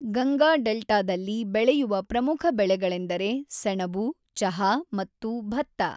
ಗಂಗಾ ಡೆಲ್ಟಾದಲ್ಲಿ ಬೆಳೆಯುವ ಪ್ರಮುಖ ಬೆಳೆಗಳೆಂದರೆ ಸೆಣಬು, ಚಹಾ ಮತ್ತು ಭತ್ತ.